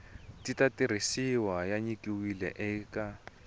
ta tirhisiwa ya nyikiwile eka